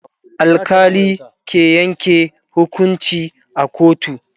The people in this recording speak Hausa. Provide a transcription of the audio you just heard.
alkali ke Yanke hukunci a kotu